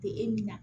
Te e nin na